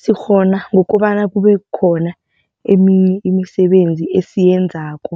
Sikghona ngokobana kube khona eminye imisebenzi esiyenzako